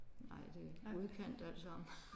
Nej det er udkant alt sammen